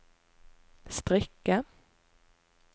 strikke